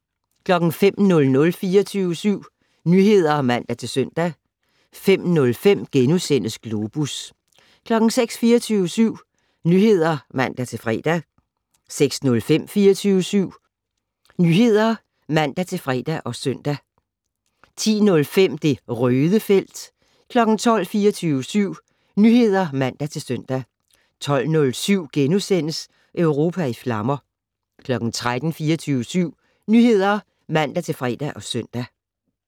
05:00: 24syv Nyheder (man-søn) 05:05: Globus * 06:00: 24syv Nyheder (man-søn) 06:05: 24syv Morgen (man-fre) 09:05: Millionærklubben (man-fre) 10:00: 24syv Nyheder (man-fre og søn) 10:05: Det Røde felt 12:00: 24syv Nyheder (man-søn) 12:07: Europa i flammer * 13:00: 24syv Nyheder (man-fre og søn)